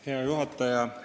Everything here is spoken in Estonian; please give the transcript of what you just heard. Hea juhataja!